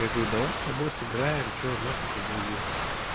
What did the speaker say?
я говорю давай с тобой сыграем что на хуй тебе грузин